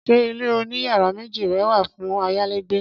Ṣé ilé oní yàrá méjì rẹ wà fún ayálégbé